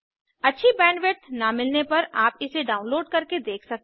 अच्छी बैंडविड्थ न मिलने पर आप इसे डाउनलोड करके देख सकते हैं